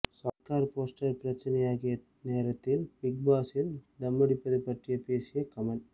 Sarkar poster பிரச்சனையாகிய நேரத்தில் big பாஸில் தம்மடிப்பது பற்றி பேசிய கமல்